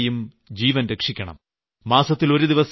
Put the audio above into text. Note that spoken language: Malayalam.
അമ്മയുടെയും കുഞ്ഞിന്റെയും ജീവൻ രക്ഷിക്കണം